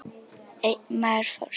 Einn maður fórst.